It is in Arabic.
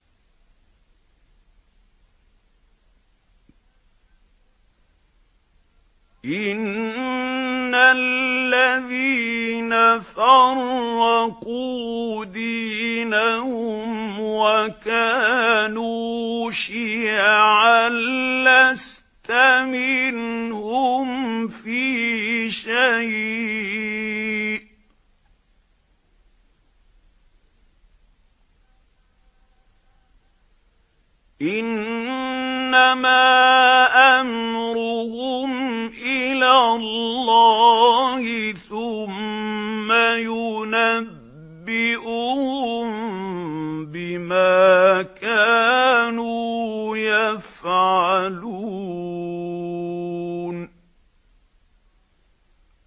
إِنَّ الَّذِينَ فَرَّقُوا دِينَهُمْ وَكَانُوا شِيَعًا لَّسْتَ مِنْهُمْ فِي شَيْءٍ ۚ إِنَّمَا أَمْرُهُمْ إِلَى اللَّهِ ثُمَّ يُنَبِّئُهُم بِمَا كَانُوا يَفْعَلُونَ